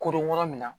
Koronko min na